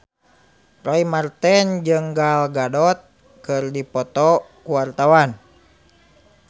Roy Marten jeung Gal Gadot keur dipoto ku wartawan